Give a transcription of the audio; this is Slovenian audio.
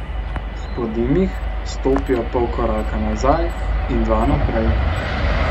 Spodim jih, stopijo pol koraka nazaj in dva naprej.